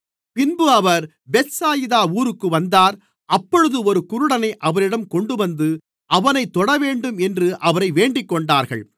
பின்பு அவர் பெத்சாயிதா ஊருக்கு வந்தார் அப்பொழுது ஒரு குருடனை அவரிடம் கொண்டுவந்து அவனைத் தொடவேண்டும் என்று அவரை வேண்டிக்கொண்டார்கள்